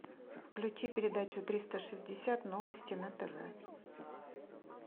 включи передачу триста шестьдесят новости на тв